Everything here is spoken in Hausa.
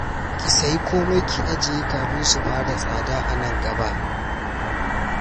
Ki sayi komai ki ajiye kafin su fara tsada a nan gaba